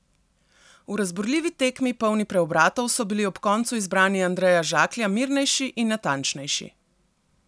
V razburljivi tekmi, polni preobratov, so bili ob koncu izbranci Andreja Žaklja mirnejši in natančnejši.